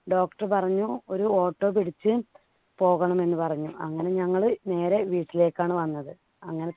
doctor പറഞ്ഞു ഒരു auto പിടിച്ച് പോകണമെന്നു പറഞ്ഞു. അങ്ങനെ ഞങ്ങള് നേരെ വീട്ടിലേക്കാണ് വന്നത്. അവസ്ഥയും ചെറിയൊരു പനിയാണ് ഇതിന് തുടക്കം പക്ഷേ നമ്മൾ test ചെയ്യുമ്പോഴാണ് അറിയുന്നത്